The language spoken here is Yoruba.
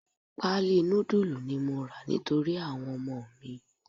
Pali nudulu ni mo ra nítorí àwọn ọmọ mi.